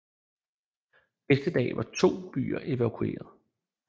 Næste dag var de to byer evakueret